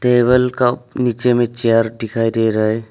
Table का नीचे में चेयर दिखाई दे रहा है।